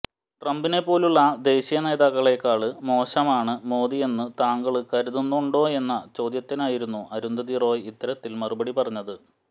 ട്രംപിനെപ്പോലെയുള്ള ദേശീയനേതാക്കളേക്കാള് മോശമാണ് മോദിയെന്ന് താങ്കള് കരുതുന്നുണ്ടോയെന്ന ചോദ്യത്തിനായിരുന്നു അരുന്ധതി റോയ് ഇത്തരത്തിൽ മറുപടി പറഞ്ഞത്